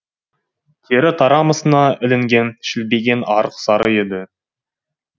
тері тарамысына ілінген шілбиген арық сары еді